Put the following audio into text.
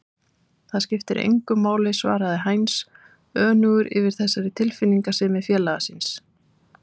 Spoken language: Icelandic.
Það skiptir engu máli svaraði Heinz önugur yfir þessari tilfinningasemi félaga síns.